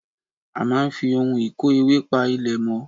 A máa ń fi ohun ìkó ewé pa ilẹ̀ mọ́